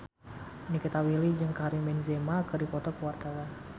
Nikita Willy jeung Karim Benzema keur dipoto ku wartawan